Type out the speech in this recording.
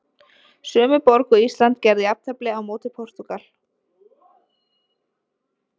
Sömu borg og Ísland gerði jafntefli á móti Portúgal.